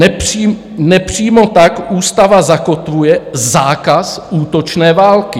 Nepřímo tak ústava zakotvuje zákaz útočné války.